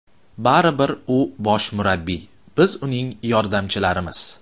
Baribir u bosh murabbiy, biz uning yordamchilarimiz.